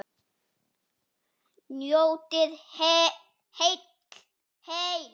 Njótið heil!